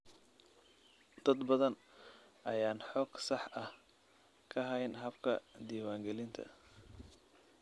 Dad badan ayaan xog sax ah ka hayn habka diiwaangelinta.